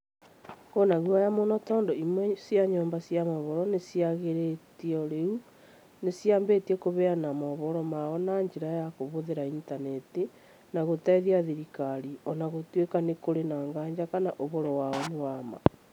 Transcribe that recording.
Kũrĩ na guoya mũno tondũ imwe cia nyũmba cia mohoro iria ciagirĩtio rĩu nĩcĩambĩtie kuheana mohoro mao na njĩra ya kũhũthĩra Intaneti na gũtetia thirikari, o na gũtuĩka nĩ kũrĩ na nganja kana ũhoro wao nĩ wa ma